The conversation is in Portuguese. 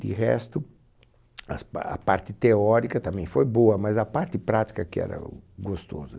De resto, as pa, a parte teórica também foi boa, mas a parte prática que era gostosa.